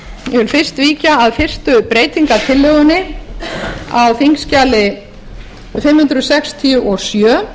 þá fyrst víkja að fyrstu breytingartillögunni á þingskjali fimm hundruð sextíu og sjö